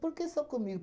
Por que só comigo?